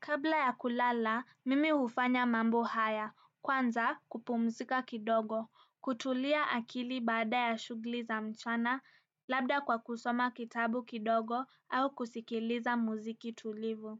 Kabla ya kulala, mimi hufanya mambo haya. Kwanza, kupumzika kidogo. Kutulia akili baada ya shughuli za mchana, labda kwa kusoma kitabu kidogo au kusikiliza muziki tulivu.